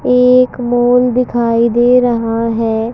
एक माल दिखाई दे रहा है।